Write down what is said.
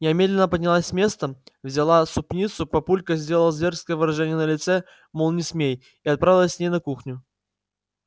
я медленно поднялась с места взяла супницу папулька сделал зверское выражение на лице мол не смей и отправилась с ней на кухню